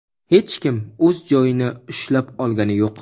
hech kim o‘z joyini ushlab olgani yo‘q.